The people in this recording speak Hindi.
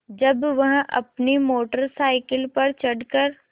जब वह अपनी मोटर साइकिल पर चढ़ कर